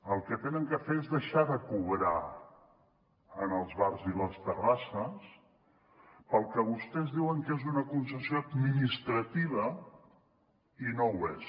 el que han de fer és deixar de cobrar als bars i les terrasses pel que vostès diuen que és una concessió administrativa i no ho és